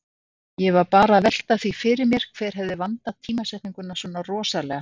Ég var bara að velta því fyrir mér hver hefði vandað tímasetninguna svona rosalega.